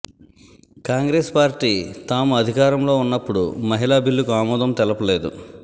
Congress party తాము అధికారంలో ఉన్నప్పడు మహిళా బిల్లుకు ఆమోదం తెలుపలేదు